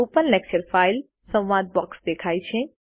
open lecture file સંવાદ box દેખાય છે